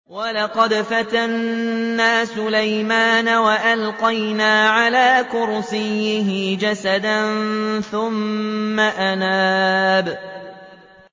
وَلَقَدْ فَتَنَّا سُلَيْمَانَ وَأَلْقَيْنَا عَلَىٰ كُرْسِيِّهِ جَسَدًا ثُمَّ أَنَابَ